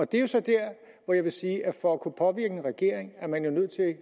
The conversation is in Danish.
det er jo så dér hvor jeg vil sige at for at kunne påvirke en regering er man jo nødt